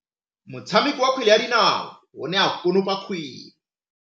Motshameki wa kgwele ya dinaô o ne a konopa kgwele.